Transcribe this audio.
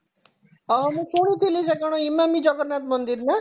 ହଁ ହଁ ମୁଁ ଶୁଣୁଥିଲି ସେ କଣ ଇମାମି ଜଗନ୍ନାଥ ମନ୍ଦିର ନା